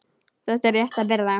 Það er rétt að byrja.